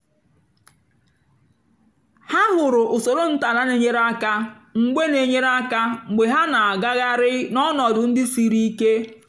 há hụ̀rụ̀ úsórò ntọ́ álà nà-ènyérè áká mgbe nà-ènyérè áká mgbe há nà-àgàghàrị́ n'ọnọ̀dụ́ ndí sírí íké.